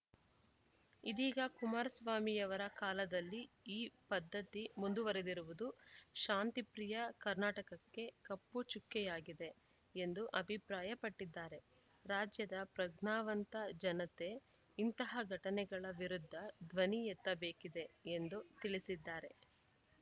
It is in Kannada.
ಇದೀಗ ಕುಮಾರಸ್ವಾಮಿಯವರ ಕಾಲದಲ್ಲಿ ಈ ಪದ್ಧತಿ ಮುಂದುವರಿದಿರುವುದು ಶಾಂತಿಪ್ರಿಯ ಕರ್ನಾಟಕ್ಕೆ ಕಪ್ಪು ಚುಕ್ಕೆಯಾಗಿದೆ ಎಂದು ಅಭಿಪ್ರಾಯಪಟ್ಟಿದ್ದಾರೆ ರಾಜ್ಯದ ಪ್ರಜ್ಞಾವಂತ ಜನತೆ ಇಂತಹ ಘಟನೆಗಳ ವಿರುದ್ಧ ಧ್ವನಿ ಎತ್ತಬೇಕಿದೆ ಎಂದು ತಿಳಿಸಿದ್ದಾರೆ